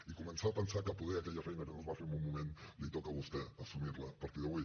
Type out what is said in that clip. i començar a pensar que poder aquella feina que no es va fer en un moment li toca a vostè assumir la a partir d’avui